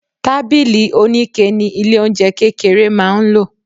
Tábìlì onike ni ilé-oúnjẹ kékeré máa ń lò.